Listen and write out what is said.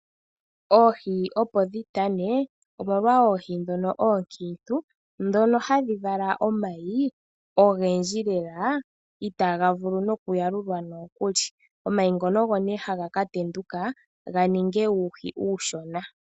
Oohi opo dhi tane omolwa oohi ndhoka hadhi vala omayi ogendji lela itaaga vulu nokuyalulwa. Omayi ngono ogo nduno haga ka tenduka ga ninge uuhi uushona.